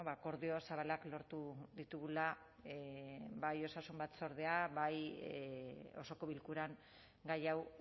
akordio zabalak lortu ditugula bai osasun batzordean bai osoko bilkuran gai hau